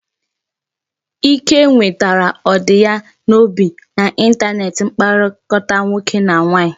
Ike nwetara ọdi ya n'obi na intaneti mkpakọrịta nwoke na nwaanyị